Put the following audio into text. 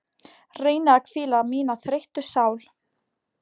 Reyni að hvíla mína þreyttu sál.